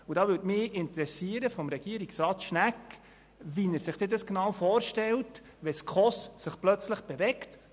Gerne möchte ich von Regierungsrat Schnegg erfahren, wie er es sich vorstellt, wenn die SKOS sich plötzlich bewegt.